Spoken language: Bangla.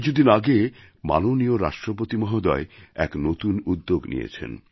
কিছুদিন আগে মাননীয় রাষ্ট্রপতি মহোদয় এক নতুন উদ্যোগ নিয়েছেন